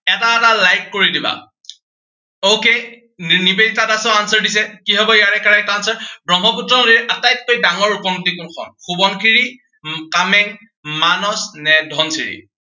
এটা এটা like কৰি দিবা। okay নিবেদিতা দাসেও answer দিছে, কি হব ইয়াৰে correct answer ব্ৰহ্মপুত্ৰৰ আটাইতকৈ ডাঙৰ উপনদী কোনখন। সোৱণশিৰি, কামেং, মানস নে ধনশিৰি।